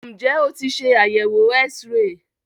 Ǹjẹ́ o tí ṣe àyẹ̀wò X-ray?